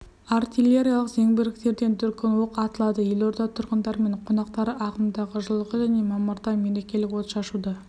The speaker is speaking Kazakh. артиллериялық зеңбіректерден дүркін оқ атылады елорда тұрғындары мен қонақтары ағымдағы жылғы және мамырда мерекелік отшашуды